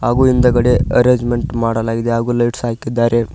ಹಾಗು ಹಿಂದಗಡೆ ಅರೇಂಜ್ಮೆಂಟ್ ಮಾಡಲಾಗಿದೆ ಹಾಗು ಲೈಟ್ಸ್ ಹಾಕಿದ್ದಾರೆ.